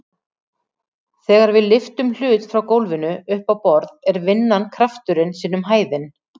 Þegar við lyftum hlut frá gólfinu upp á borð er vinnan krafturinn sinnum hæðin.